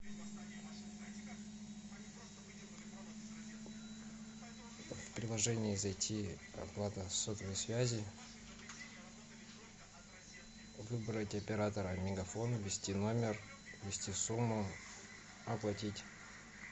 в приложение зайти оплата сотовой связи выбрать оператора мегафон ввести номер ввести сумму оплатить